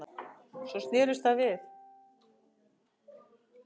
Svo snerist það við